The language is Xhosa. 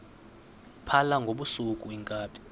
phala ngobusuku iinkabi